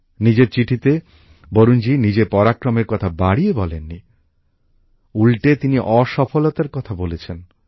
নিজের চিঠিতে বরুণ জী নিজের পরাক্রমের কথা বাড়িয়ে বলেন নি উল্টে তিনি অসফলতার কথা বলেছেন